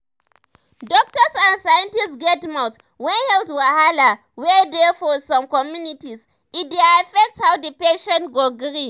doktors and scientists get mouth when health wahala wey dey for some communities e dey affect how the patient go gree.